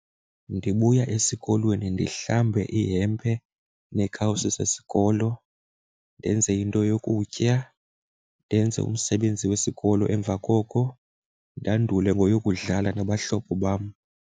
Ndibuya esikolweni ndihlambe ihempe neekawusi zesikolo, ndenze into yokutya, ndenze umsebenzi wesikolo. Emva koko ndandule ngoyokudlala nabahlobo bam.